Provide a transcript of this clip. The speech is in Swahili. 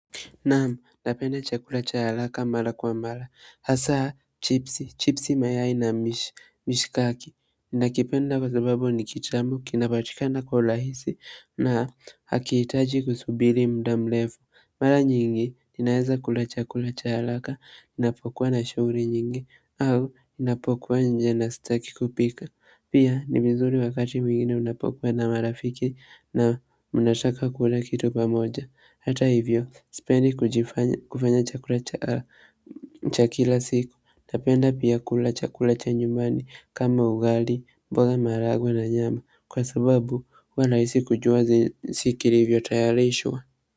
Naam, napenda chakula cha haraka mara kwa mara. Hasa, chipsi, chipsi mayai na mishikaki. Nakipenda kwa sababu ni kitamu kinapatikana kwa urahisi na hakihitaji kusubiri muda mrefu. Mara nyingi, ninaweza kula chakula cha haraka, ninapokuwa na shughuli nyingi, au ninapokuwa nje na sitaki kupika. Pia, ni vizuri wakati mwingine unapokuwa na marafiki na mnataka kula kitu pamoja. Hata hivyo, sipendi kufanya chakula cha kila siku, napenda pia kula chakula cha nyumbani kama ugali, mboga maharagwe na nyama, kwa sababu huwa nahisi kujua kilivyotayarishwa.